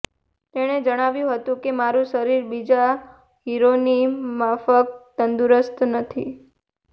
તેણે જણાવ્યું હતું કે મારું શરીર બીજા હીરોની માફક તંદુરસ્ત નથી